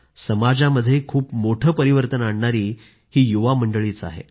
समाजामध्ये खूप मोठे परिवर्तन आणणारी ही युवा मंडळीच आहेत